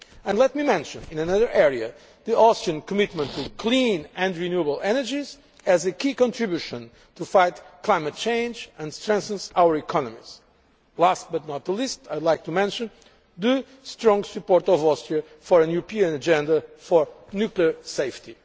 And let me mention, in another area, the Austrian commitment to clean and renewable energies as a key contribution to fight climate change and strengthen our economies. Last but not least, I would like to mention the strong support of Austria for a European agenda for nuclear safety.